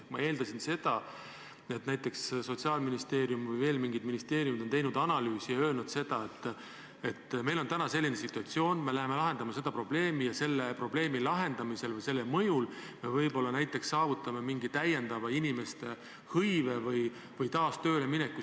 Ma eeldasin seda, et näiteks Sotsiaalministeerium või veel mingi ministeerium on teinud analüüsi ja öelnud, et meil on praegu selline situatsioon, me läheme lahendama seda probleemi ja selle probleemi lahendamisel või selle mõjul me võib-olla saavutame veel mingi inimeste hõive või taas tööle mineku.